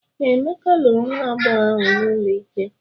Ee, Emeka lụrụ nwa agbọghọ ahụ n’ụlọ ikpe.